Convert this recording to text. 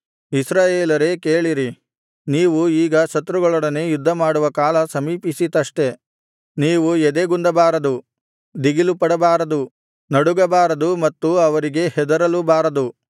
ಇಸ್ರಾಯೇಲರೇ ಕೇಳಿರಿ ನೀವು ಈಗ ಶತ್ರುಗಳೊಡನೆ ಯುದ್ಧಮಾಡುವ ಕಾಲ ಸಮೀಪಿಸಿತಷ್ಟೆ ನೀವು ಎದೆಗುಂದಬಾರದು ದಿಗಿಲುಪಡಬಾರದು ನಡುಗಬಾರದೂ ಮತ್ತು ಅವರಿಗೆ ಹೆದರಲೂಬಾರದು